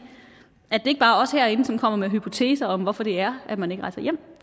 at det ikke er os herinde som kommer med hypoteser om hvorfor det er at man ikke rejser hjem